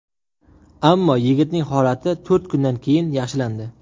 Ammo yigitning holati to‘rt kundan keyin yaxshilandi.